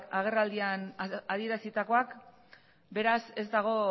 agerraldian adierazitakoak beraz ez dago